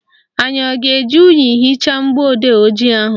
Anyị a ga-eji unyi hichaa mgbọodee ojii ahụ?